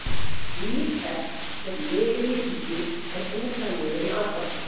Líf þess sem lifir í lygi er bútað niður í andartök.